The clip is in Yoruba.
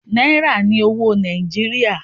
Náírà ní owó Nàìjíríà.